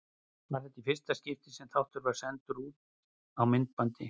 Var það í fyrsta skipti sem þáttur var sendur út á myndbandi.